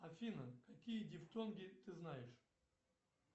афина какие дифтонги ты знаешь